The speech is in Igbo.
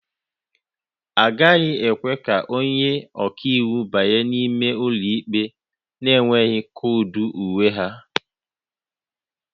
A gaghị ekwe ka onye ọka iwu banye n'ime ụlọ ikpe na-enweghị koodu uwe ha